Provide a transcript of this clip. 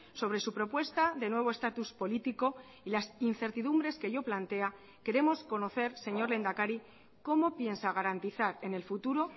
sobre su propuesta de nuevo estatus político y las incertidumbres que ello plantea queremos conocer señor lehendakari cómo piensa garantizar en el futuro